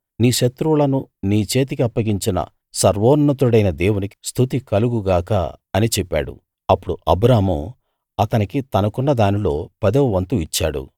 నీ శత్రువులను నీ చేతికి అప్పగించిన సర్వోన్నతుడైన దేవునికి స్తుతి కలుగు గాక అని చెప్పాడు అప్పుడు అబ్రాము అతనికి తనకున్న దానిలో పదవ వంతు ఇచ్చాడు